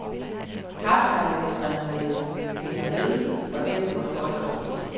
Kapsejladsrenomeet hænger ved, og det er både godt og dårligt.